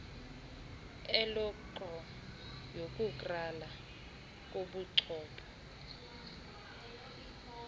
elektro yokukrala kobuchopho